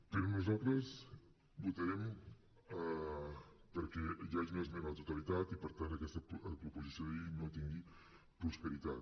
però nosaltres votarem perquè hi hagi una esmena a la totalitat i per tant que aquesta proposició de llei no tingui prosperitat